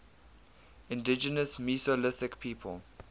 indigenous mesolithic people